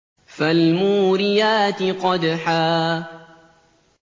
فَالْمُورِيَاتِ قَدْحًا